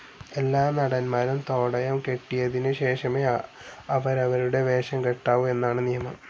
എല്ലാ നടൻമാരും തോടയം കെട്ടിയതിനു ശേഷമേ അവരവരുടെ വേഷം കെട്ടാവൂ എന്നാണു നിയമം.